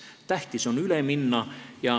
Tähtis on üle minna.